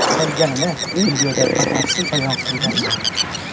Qolganini videoda batafsil bayon qilganman.